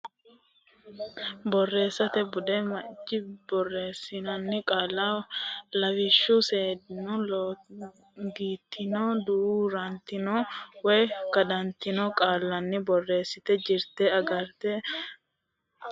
Borreessate Bude Mucciso borreessinoonni qaalla lawishshu seeddino lollongitino duu rantino woy kadantino qoonqonni borreessate jirte garunni agadhitine borreessinoonnikkita taashshitine borreesse.